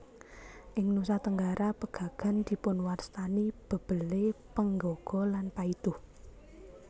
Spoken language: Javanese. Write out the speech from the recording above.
Ing Nusa Tenggara pegagan dipunwastani bebele penggaga lan paiduh